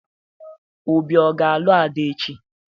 Obi ga-alụ Ada echi?